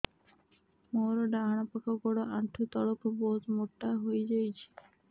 ମୋର ଡାହାଣ ଗୋଡ଼ ଆଣ୍ଠୁ ତଳକୁ ବହୁତ ମୋଟା ହେଇଯାଉଛି